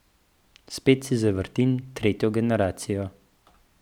Spet si zavrtim Tretjo generacijo.